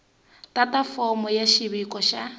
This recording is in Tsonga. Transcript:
tata fomo ya xiviko xa